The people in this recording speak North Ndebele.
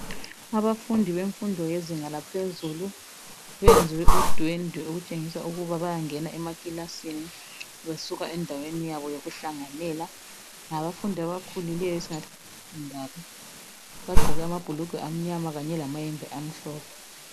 Abafundi bemfundo yezinga laphezulu benze udwende okutshengisa ukuba bayangena emakilasini besuka endaweni yabo yokuhlanganela. Ngabafundi abakhulileyo esingathi ngabe sekhondari bagqoke amabhulugwe amnyama kanye lamayembe amhlophe.